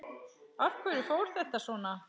Af hverju fór þetta svona?